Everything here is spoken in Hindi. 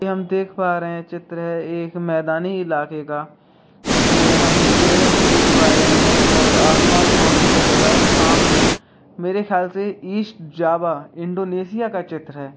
यहाँ हम देख पा रहे है एक चित्र है मैदानी इलाके का उसमें हम पेड़ भी देख पा रहे है और आसमान बहुत सुन्दर लग रहा है और सामने मेरे ख्याल से ईस्ट जावा इंडोनेशिया का चित्र है।